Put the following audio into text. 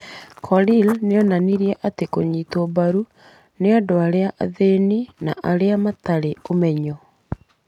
Korir nĩ onanirie atĩ rũnyitĩtwo mbaru nĩ andũ arĩa athĩni na arĩa matarĩ ũmenyo.